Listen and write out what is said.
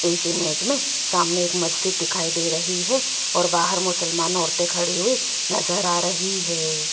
इस इमेज में सामने एक मस्जिद दिखाई दे रही है और बाहर मुसलमान औरतें खड़ी हुई नजर आ रही है।